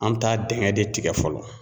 An bɛ taa dingɛ de tigɛ fɔlɔ.